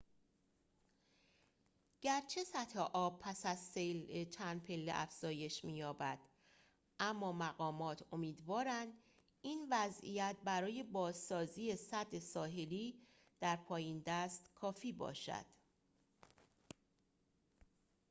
گرچه سطح آب پس از سیل چند پله افزایش می‌یابد اما مقامات امیدوارند این وضعیت برای بازسازی سد ساحلی در پایین دست کافی باشد